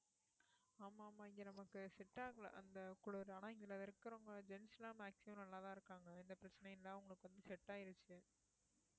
ஆமா ஆமா இங்க நமக்கு set ஆகல அந்த குளிர் ஆனா இங்க இருக்கறவங்க gents லாம் maximum நல்லாதான் இருக்காங்க எந்த பிரச்சனையும் இல்ல அவங்களுக்கு வந்து set ஆயிருச்சு